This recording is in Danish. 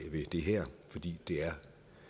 det her fordi det er